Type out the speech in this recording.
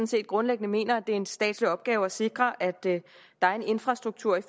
set grundlæggende mener at det er en statslig opgave at sikre at der er infrastruktur